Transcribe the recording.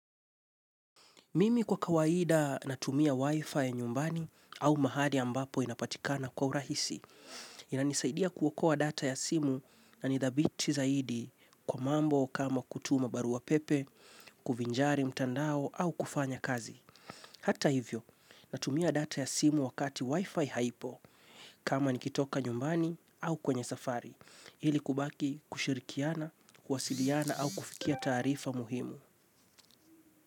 Mimi kwa kawaida natumia wifi nyumbani au mahali ambapo inapatikana kwa urahisi. Inanisaidia kuokoa data ya simu na ni thabiti zaidi kwa mambo kama kutuma barua pepe, kuvinjari mtandao au kufanya kazi. Hata hivyo, natumia data ya simu wakati wifi haipo kama nikitoka nyumbani au kwenye safari. Hili kubaki kushirikiana, kwasiliana au kufikia taarifa muhimu.